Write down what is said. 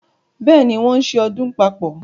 Bẹ́ẹ̀ ni, wọ́n ń ṣe ọdún papọ̀.